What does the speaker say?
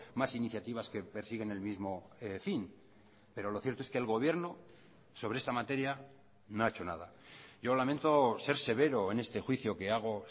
más iniciativas que persiguen el mismo fin pero lo cierto es que el gobierno sobre esta materia no ha hecho nada yo lamento ser severo en este juicio que hago